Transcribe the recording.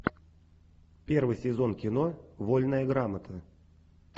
первый сезон кино вольная грамота